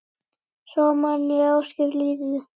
Svo man ég ósköp lítið.